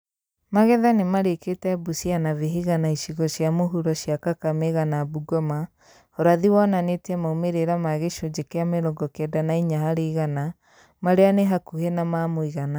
Magetha nĩmarĩkĩte Busia na Vihiga na icigo cia mũhuro cia Kakamega na Bungoma ũrathi wonanĩtie maumĩrĩra ma gĩcunjĩ kĩa mĩrongo kenda na inya harĩ igana marĩa nĩ hakuhĩ na ma mũigana